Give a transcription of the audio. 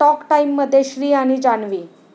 talk टाइम'मध्ये 'श्री आणि जान्हवी'